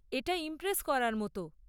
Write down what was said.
এটা ইমপ্রেস করার মতো।